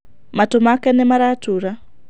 Matũ make nĩ Maratura.